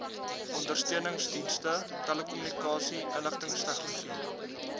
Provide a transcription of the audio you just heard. ondersteuningsdienste telekommunikasie inligtingstegnologie